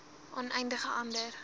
aan enige ander